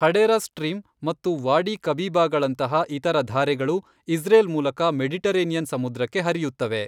Hadera stream ಮತ್ತು ವಾಡಿ ಕಬೀಬಾಗಳಂತಹ ಇತರ ಧಾರೆಗಳು ಇಸ್ರೇಲ್ ಮೂಲಕ ಮೆಡಿಟರೇನಿಯನ್ ಸಮುದ್ರಕ್ಕೆ ಹರಿಯುತ್ತವೆ.